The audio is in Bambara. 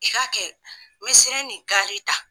I k'a kɛ miselen ni gaari ta.